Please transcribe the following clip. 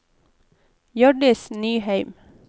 Hjørdis Nyheim